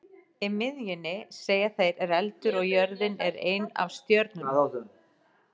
Í miðjunni, segja þeir, er eldur og jörðin er ein af stjörnunum.